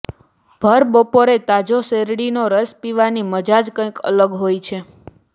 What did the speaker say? ભરબપોરે તાજો શેરડીનો રસ પીવાની મજા જ કંઈક અલગ હોય છે